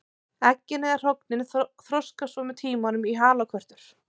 Eggin eða hrognin þroskast svo með tímanum í halakörtur.